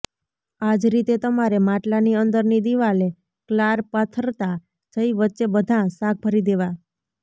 આજ રીતે તમારે માટલાની અંદરની દિવાલે ક્લાર પાથરતા જઈ વચ્ચે બધાં શાક ભરી દેવાં